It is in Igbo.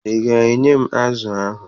Ị ga-enye m azụ ahụ?